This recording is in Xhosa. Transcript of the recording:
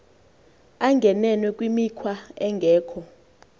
angene kwimikhwa engekho